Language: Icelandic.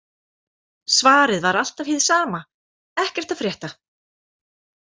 Svarið var alltaf hið sama: Ekkert að frétta